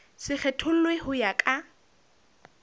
se kgethollwe ho ya ka